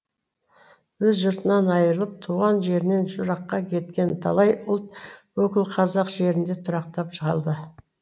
өз жұртынан айырылып туған жерінен жыраққа кеткен талай ұлт өкілі қазақ жерінде тұрақтап жалды